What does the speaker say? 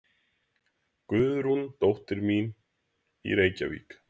Guðrúnu, dóttur mína í Reykjavík?